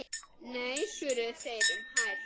Nei svöruðu þeir um hæl.